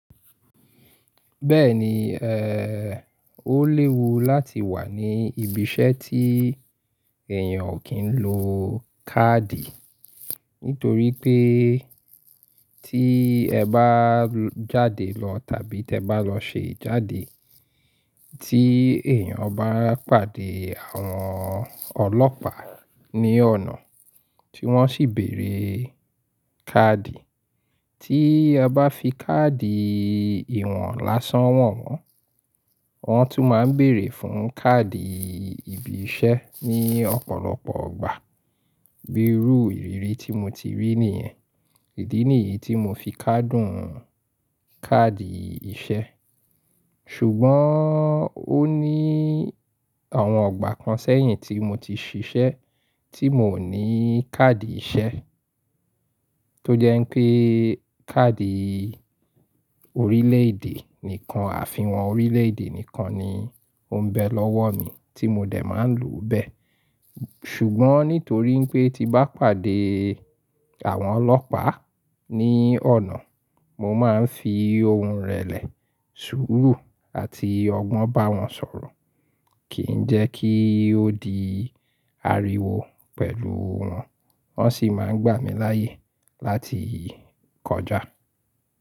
Bẹ́ẹ̀ni, ẹ́, ó léwu láti wà ní ibi iṣẹ́ tí èèyàn ò kí ń lo káàdì. Nítorí pé tí ẹ bá jáde lọ tàbí tí ẹ bá lọ ṣe ìjáde, tí èèyàn bá pàdé àwọn ọlọ́pàá ní ọ̀nà, tí wọ́n sì bèrè káàdì, tí ẹ bá fi káàdì ìwọ̀n lásán wọn wọ́n, wọ́n tún máa ń bèrè fún káàdì ibi iṣẹ́ ní ọ̀pọ̀lọpọ̀ ìgbà. Bíi rú ìrírí tí mo ti rí nìyẹn. Ìdí nìyí tí mo fi kádùn káàdì iṣẹ́. Ṣùgbọ́n ó ní àwọn igbà kan sẹ́yìn tí mo ti ṣiṣẹ́ tí miò ní káàdì iṣẹ́. Tó jẹ́ pé káàdì orílẹ̀ èdè nìkan àfi wọn orílẹ̀ èdè nìkan ni ó ń bẹ lọ́wọ́ mi tí mo dẹ̀ máa ń lò bẹ́ẹ̀. Ṣùgbọ́n nítorí pé tí bá pàdé àwọn ọlọ́pàá ní ọ̀nà, mo máa ń fi ohùn rẹlẹ̀, sùúrù àti ọgbọ́n bá wọn sọ̀rọ̀. Kì ń jẹ́ kí ó di ariwo pẹ̀lú wọn. Wọ́n sì máa ń gbà mí láyè láti kọjá.